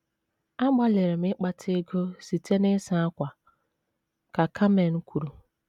“ Agbalịrị m ịkpata ego site n’ịsa ákwà, ” ka Carmen kwuru.